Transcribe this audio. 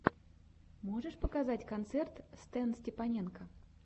можешь показать концерт стэнстепаненко